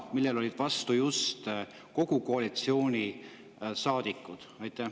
Sellele olid vastu kõik koalitsioonisaadikud.